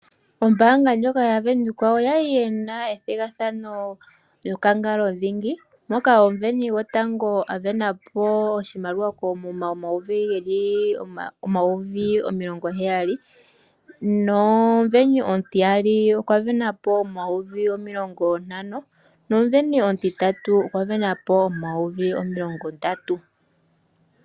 Ombaanga ndjoka yaVenduka oyali yena ethigathano yokangalo dhingi, moka omusindani gotango a sindana po oshimaliwa koomuma omayovi omilongo heyali. Nomusindani omutiyali okwa sindana po omayovi omilongo ntano, nomusindani omutitatu okwa sindana po omayovi omilongo ndatu.